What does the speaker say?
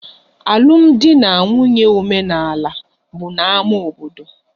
Alụmdi na nwunye omenaala bụ na ámá obodo